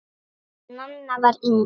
Nanna var yngst.